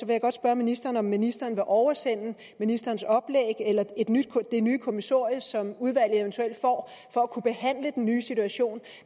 jeg godt spørge ministeren om ministeren vil oversende ministerens oplæg eller det nye kommissorie som udvalget eventuelt får for at kunne behandle den nye situation